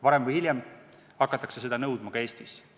Varem või hiljem hakatakse seda nõudma ka Eestis.